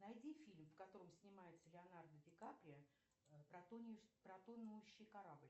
найди фильм в котором снимается леонардо ди каприо про тонущий корабль